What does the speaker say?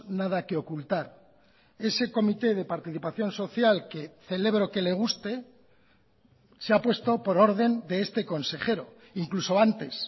nada que ocultar ese comité de participación social que celebro que le guste se ha puesto por orden de este consejero incluso antes